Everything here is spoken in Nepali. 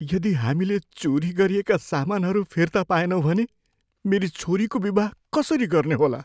यदि हामीले चोरी गरिएका सामानहरू फिर्ता पाएनौँ भने, मेरी छोरीको विवाह कसरी गर्ने होला?